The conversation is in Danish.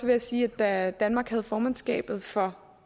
jeg sige at da danmark havde formandskabet for